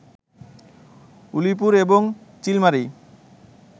উলিপুর এবং চিলমারী